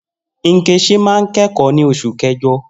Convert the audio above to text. Nkechi máa ń kẹ́kọ̀ọ́ ní Oṣù Kẹjọ